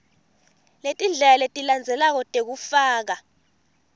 letindlela letilandzelako tekufaka